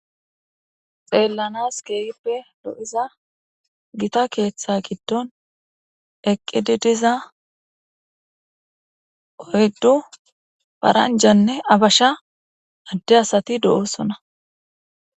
Xeellanas keeyippe lo'iza gita keeththa giddon eqqididiza oyddu paranjanne abasha adde asati do'osona.